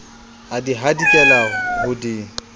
a di hadikela ho di